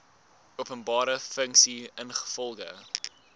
openbare funksie ingevolge